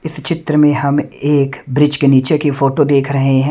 इस चित्र में हम एक ब्रिज के नीचे की फोटो देख रहे हैं।